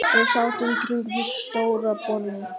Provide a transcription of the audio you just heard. Við sátum kringum stóra borðið.